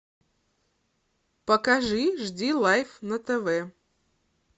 покажи жди лайф на тв